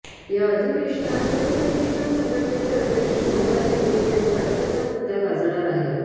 या अधिवेशनात शिवप्रतिष्ठान संघटनेचे अध्यक्ष संभाजी भिडे यांच्या अटकेचा मुद्द गाजणार आहे